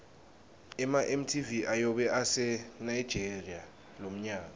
ema mtv ayobe ase nigeria lomnyaka